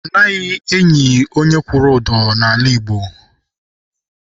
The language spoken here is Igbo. Anaghị eli onye kwụrụ ụdọ n'ala Igbo.